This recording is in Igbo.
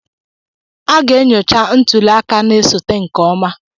A ga-enyocha ntuli aka na-esote nke ọma.